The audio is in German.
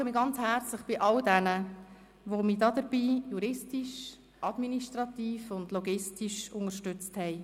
Ich bedanke mich ganz herzlich bei all jenen, die mich dabei juristisch, administrativ und logistisch unterstützt haben.